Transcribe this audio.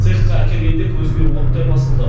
цехқа әкелгенде көзіме оттай басылды